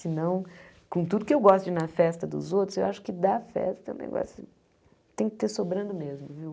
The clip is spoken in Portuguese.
Senão, com tudo que eu gosto de ir na festa dos outros, eu acho que dar festa é um negócio que tem que ter sobrando mesmo, viu?